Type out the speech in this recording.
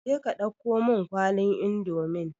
Je ka dauko mun kwalin indomin